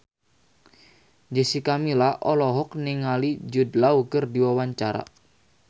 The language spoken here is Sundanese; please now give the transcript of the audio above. Jessica Milla olohok ningali Jude Law keur diwawancara